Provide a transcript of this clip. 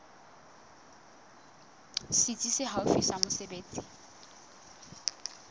setsi se haufi sa mesebetsi